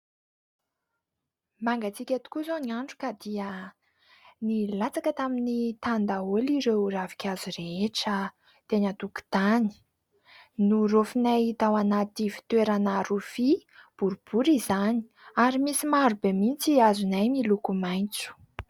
Mangatsika tokoa izao ny andro ka dia nilatsaka tamin'ny tany daholo ireo ravinkazo rehetra teny an-tokontany. Noraofinay tao anaty fitoerana rofia boribory izany ary misy maro be mihitsy azonay miloko maitso.